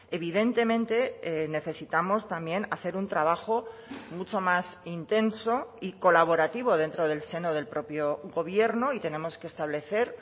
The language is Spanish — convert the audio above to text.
evidentemente necesitamos también hacer un trabajo mucho más intenso y colaborativo dentro del seno del propio gobierno y tenemos que establecer